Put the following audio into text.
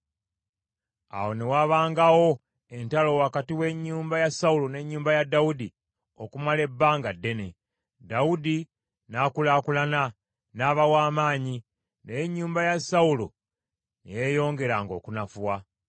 Awo ne wabangawo entalo wakati w’ennyumba ya Sawulo n’ennyumba ya Dawudi okumala ebbanga ddene. Dawudi n’akulaakulana, n’aba w’amaanyi, naye ennyumba ya Sawulo ne yeeyongeranga okunafuwa.